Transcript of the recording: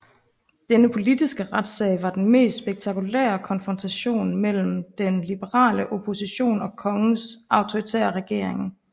Denne politiske retssag var den mest spektakulære konfrontation mellem den liberale opposition og kongens autoritære regering